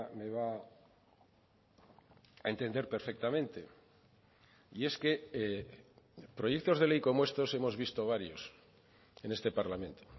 me va a entender perfectamente y es que proyectos de ley como estos hemos visto varios en este parlamento